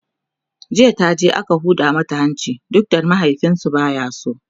jiya taje aka Huda mata hanci duk da mahaifinsu baya so